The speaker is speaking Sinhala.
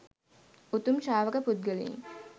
උතුම් ශ්‍රාවක පුද්ගලයින්